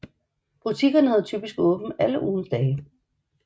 Butikkerne havde typisk åbent alle ugens dage